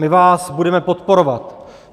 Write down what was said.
My vás budeme podporovat.